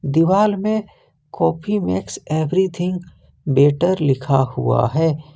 दीवाल में coffee makes everything better लिखा हुआ है।